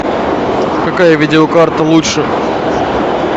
какая видеокарта лучше